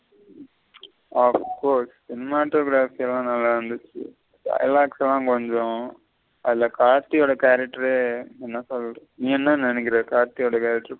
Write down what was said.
அஹ் cinematography ல நல்ல இருந்துச்சி dialogue ல கொஞ்சம் அதுல கார்த்தி ஓட character என்ன சொல்ல நீ என்ன நென்னைக்குற கார்த்தி ஓட character.